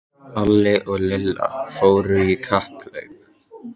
Alli og Lilla fóru í kapphlaup.